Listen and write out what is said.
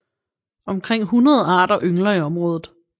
Omkring hundrede arter yngler i området